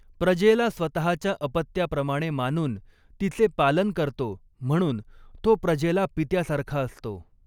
प्रजेला स्वतःच्या अपत्याप्रमाणे मानून तिचे पालन करतो, म्हणून तो प्रजेला पित्यासारखा असतो.